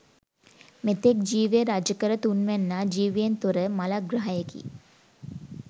මෙතෙක් ජීවය රජකළ තුන්වැන්නා ජීවයෙන් තොර මළග්‍රහයෙකි.